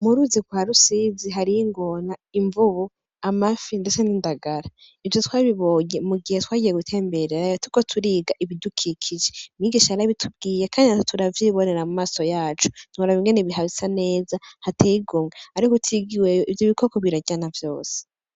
M'uruzi gwa Rusizi hariyo ingona, imvubu, amafi, ndetse n'indagara. Ivyo twabibonye mugihe twagiye gutemberayo turiko turiga ibidukikije. Mwigisha yarabitubwiye kandi natwe turavyibonera mumaso yacu. Ntiworaba ingene hasa neza hateye igomwe. Ariko utigiweyo, ivyo bikoko biraryana vyose.